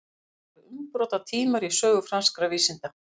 þetta voru umbrotatímar í sögu franskra vísinda